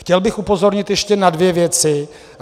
Chtěl bych upozornit ještě na dvě věci.